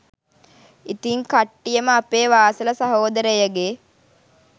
ඉතින් කට්ටියම අපේ වාසල සහෝදරයගෙ